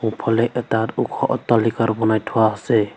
সোঁফালে এটাত ওখ অট্টালিকাৰ বনাই থোৱা আছে।